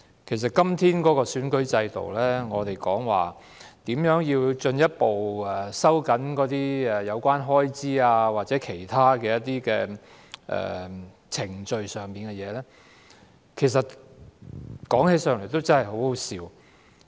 對於今天的選舉制度，我們還在討論如何進一步收緊有關選舉開支的規定或其他程序事宜，說起來其實真的很可笑。